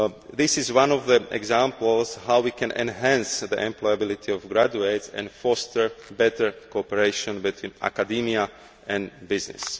This is one example of how we can enhance the employability of graduates and foster better cooperation between academia and business.